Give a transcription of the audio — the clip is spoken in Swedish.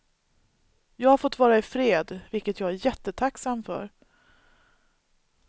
Jag har fått vara i fred, vilket jag är jättetacksam för.